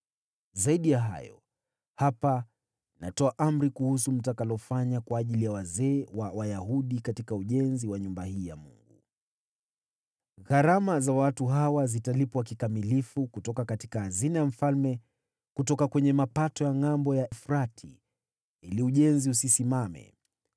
Zaidi ya hayo, hapa natoa amri kuhusu mtakalofanya kwa ajili ya wazee wa Wayahudi katika ujenzi wa nyumba hii ya Mungu: Gharama za watu hawa zitalipwa kikamilifu kutoka hazina ya mfalme, kutoka kwenye mapato ya Ngʼambo ya Mto Frati, ili ujenzi usisimame.